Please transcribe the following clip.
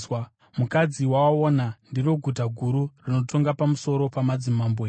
Mukadzi wawaona ndiro guta guru rinotonga pamusoro pamadzimambo enyika.”